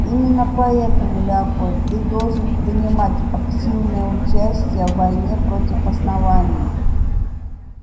именно поэтому леапольд ты должен принимать активное участие в войне против основания